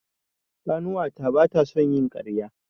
Ƙanuwata ba ta son yin ƙarya.